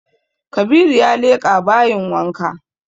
Kabiru ya leƙa bayin wanka